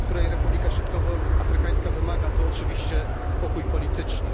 której Republika Środkowoafrykańska wymaga, to oczywiście spokój polityczny.